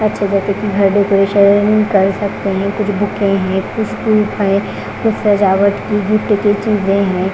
हर decoration कर सकते हैं कुछ बुके हैं कुछ हैं कुछ सजावट की गिफ्ट की चीजें हैं।